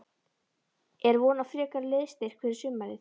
Er von á frekari liðsstyrk fyrir sumarið?